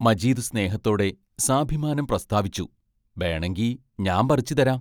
മജീദ് സ്നേഹത്തോടെ സാഭിമാനം പ്രസ്താവിച്ചു: ബേണങ്കി ഞാമ്പറിച്ചു തരാം